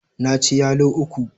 Na ci yalo uku.